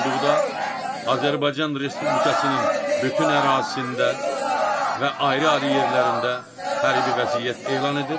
olduğuqda Azərbaycan Respublikasının bütün ərazisində və ayrı-ayrı yerlərində hərbi vəziyyət elan edir.